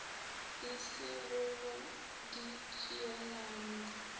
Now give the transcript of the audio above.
e se go go ditšhielano